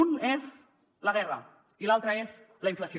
un és la guerra i l’altre és la inflació